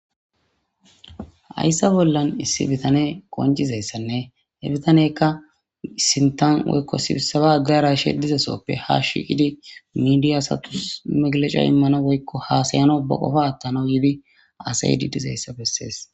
Ayssa bollan issi bitane qoncizayssanne hebitanekka sintan woykko sibissaba aggaraishe dizesoppe hashiqidi midiyaasatus meglaca immana woykko haasayano baqofa attana yiibi asay dizayssa bessees.